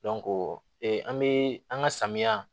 an be an ga samiya